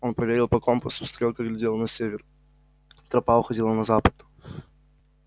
он проверил по компасу стрелка глядела на север тропа уходила на запад